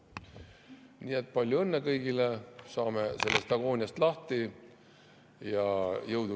Nii et palju õnne kõigile, saame sellest agooniast lahti!